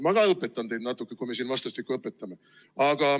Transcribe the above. Ma ka õpetan teid natuke, kui me siin juba vastastikku õpetame.